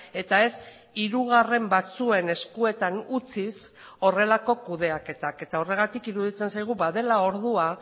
eta ez hirugarren batzuen eskuetan utziz horrelako kudeaketak eta horregatik iruditzen zaigu badela ordua